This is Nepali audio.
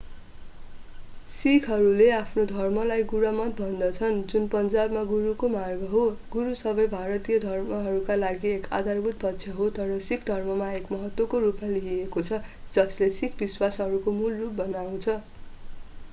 सिखहरूले आफ्नो धर्मलाई गुरमत भन्दछन् जुन पन्जावीमा गुरुको मार्ग हो गुरु सबै भारतीय धर्महरूका लागि एक आधारभूत पक्ष हो तर सिख धर्ममा एक महत्त्वको रूपमा लिइएको छ जसले सिख विश्वासहरूको मूल रूप बनाउँछ